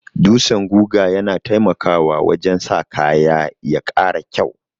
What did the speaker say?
Dutsan guga yana taimakawa wajen sa kaya ya ƙara kyau.